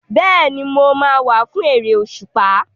Bẹ́ẹ̀ni, mo máa wá fún eré òṣùpá.